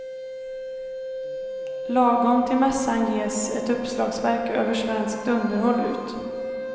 Lagom till mässan ges ett uppslagsverk över svenskt underhåll ut.